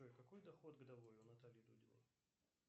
какой доход годовой у натальи дудиной